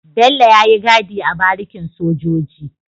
Bello yayi gadi a barikin sojoji